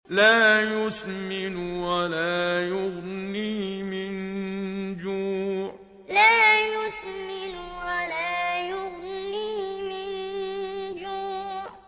لَّا يُسْمِنُ وَلَا يُغْنِي مِن جُوعٍ لَّا يُسْمِنُ وَلَا يُغْنِي مِن جُوعٍ